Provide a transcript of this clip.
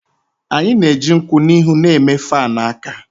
Anyị na-eji nkwụ n'ihu na-eme fan aka